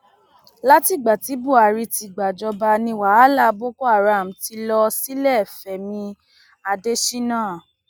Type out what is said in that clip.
látìgbà tí buhari ti gbàjọba ni wàhálà boko haram ti lọ sílẹfẹmi adésínà